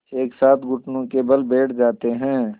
एक साथ घुटनों के बल बैठ जाते हैं